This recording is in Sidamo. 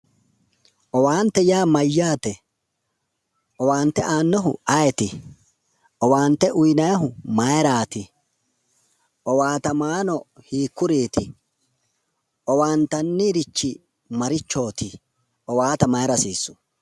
Owaante yaa mayyaate? owaante aannohu ayeeti? owaante uyiinayiihu maayiiraati? owaatamaano hiikkuriiti? owaantannirrichi marichooti? Owaante maayra hasiissu?